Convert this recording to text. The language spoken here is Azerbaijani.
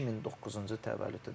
2009-cu təvəllüdüdür də.